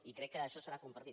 i crec que això serà compartit